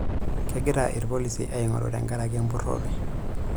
Kegira ilpolisi aingoru tenkaraki empurore.